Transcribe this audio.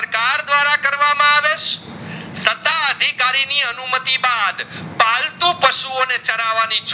ના અધિકારી ની અનુમતિ બાદ પાલતુ પાસુઓ ને ચરવાની